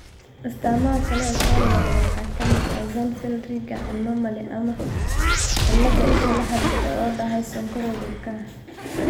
Astaamaha kale ee soo noqnoqda waxaa ka mid ah: Axenfeld Rieger anomaly ama cillad isha la xiriirta oo daahday Sonkorowga ilkaha.